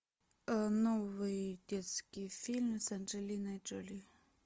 новый детский фильм с анджелиной джоли